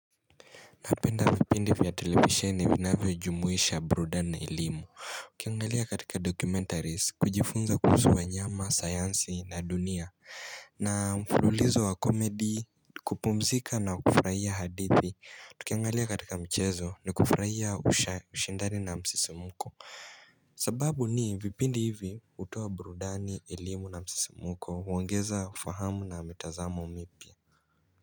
Napenda vipindi vya televisheni vinavyo jumuisha burudani na elimu Tukiangalia katika documentaries kujifunza kuhusu wanyama sayansi na dunia na mfululizo wa komedy kupumzika na kufurahia hadithi tukiangalia katika mchezo ni kufurahia usha ushindani na msisimko sababu ni vipindi hivi hutoa burudani elimu na msisimuko huongeza ufahamu na mtazamo mpya.